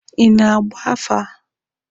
Ị na-agba afa?